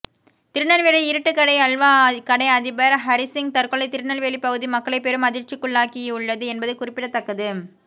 திருநெல்வேலி இருட்டுக்கடை அல்வா கடை அதிபர் ஹரிசிங் தற்கொலை திருநெல்வேலி பகுதி மக்களை பெரும் அதிர்ச்சிக்குள்ளாக்கி உள்ளது என்பது குறிப்பிடத்தக்கது